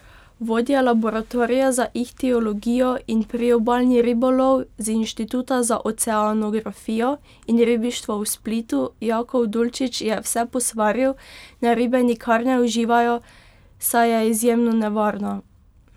Vodja laboratorija za ihtiologijo in priobalni ribolov z Inštituta za oceanografijo in ribištvo v Splitu Jakov Dulčić je vse posvaril, naj ribe nikar ne uživajo, saj je izjemno nevarna.